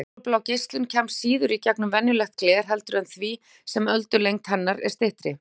Útfjólublá geislun kemst síður í gegnum venjulegt gler eftir því sem öldulengd hennar er styttri.